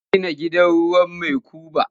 Ya gina gida ruwan makuba.